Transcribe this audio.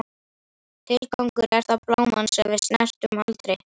Tilgangur, er það bláminn sem við snertum aldrei?